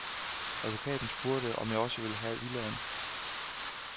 Advokaten spurgte, om jeg også ville have villaen.